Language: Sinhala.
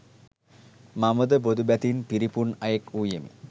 මම ද බොදු බැතින් පිරිපුන් අයෙක් වූයෙමි.